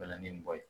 Na ni mɔgɔ ye